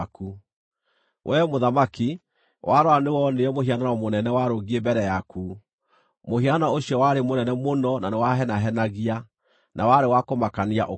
“Wee mũthamaki, warora nĩwonire mũhianano mũnene warũngiĩ mbere yaku: mũhianano ũcio warĩ mũnene mũno na nĩwahenahenagia, na warĩ wa kũmakania ũkĩonwo.